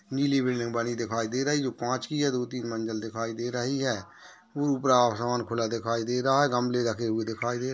नीली बिल्डिंग बनी दिखाई दे रही है जो कांच की है। दो तीन मंजिल दिखाई दे रही है उपर आसमान खुला दिखाई दे रहा है गमले रखे हुए दिखाई दे--